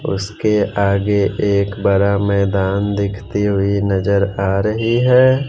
उसके आगे एक बड़ा मैदान देखते हुए नजर आ रही है।